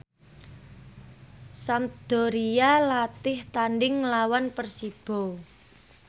Sampdoria latih tandhing nglawan Persibo